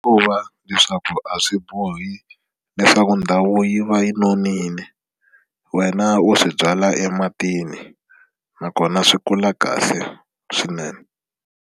Ku va leswaku a swi bohi leswaku ndhawu yi va yi nonile wena u swi byala ematini nakona swi kula kahle swinene.